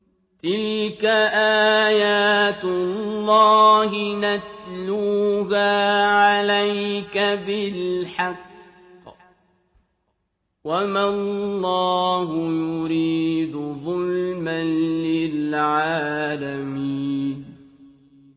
تِلْكَ آيَاتُ اللَّهِ نَتْلُوهَا عَلَيْكَ بِالْحَقِّ ۗ وَمَا اللَّهُ يُرِيدُ ظُلْمًا لِّلْعَالَمِينَ